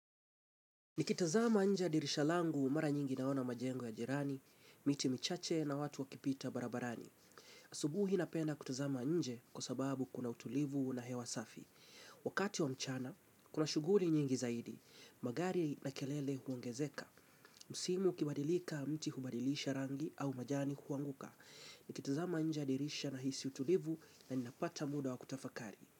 Nikitazama nje ya dirisha langu mara nyingi naona majengo ya jirani, miti michache na watu wakipita barabarani. Asubuhi napenda kutazama nje kwa sababu kuna utulivu na hewa safi. Wakati wa mchana, kuna shughuli nyingi zaidi. Magari na kelele huongezeka. Msimu ukibadilika, mti hubadilisha rangi au majani huanguka. Nikitazama nje ya dirisha nahisi utulivu na ninapata muda wa kutafakari.